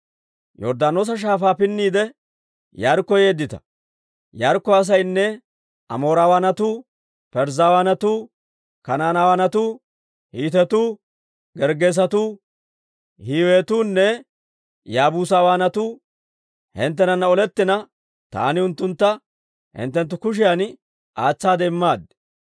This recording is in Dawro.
« ‹Yorddaanoosa Shaafaa pinniide, Yaarikko yeeddita; Yaarikko asaynne Amoorawaanatu, Parzzawanatu, Kanaanetuu, Hiitetu, Gerggeesetu, Hiiwetunne Yaabuusawaanatuu hinttenana olettina, taani unttuntta hinttenttu kushiyan aatsaade immaad.